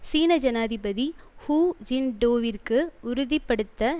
சீன ஜனாதிபதி ஹூ ஜின்டோவிற்கு உறுதி படுத்த